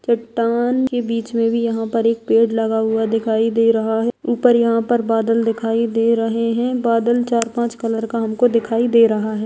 चट्टान के बीच में भी यहाँ पर एक पेड़ लगा हुआ दिखाई दे रहा है ऊपर यहाँ पर बादल दिखाई दे रहे हैं बादल चार पाँच कलर का हमको दिखाई दे रहा है।